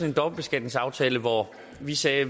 en dobbeltbeskatningsaftale hvor vi sagde